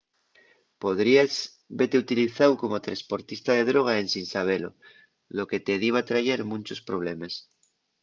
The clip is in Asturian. podríes vete utilizáu como tresportista de droga ensin sabelo lo que te diba trayer munchos problemes